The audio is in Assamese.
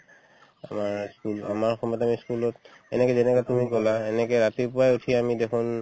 আমাৰ উম আমাৰ সময়ত আমি school ত এনেকে যেনেকে তুমি ক'লা এনেকে ৰাতিপুৱাই উঠি আমি দেখুন